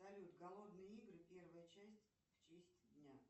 салют голодные игры первая часть в честь дня